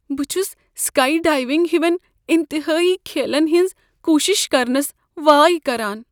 بہٕ چھس skydiving ہوین انتہٲیی کھیلن ہنز كوشِش كرنس وایہ كران ۔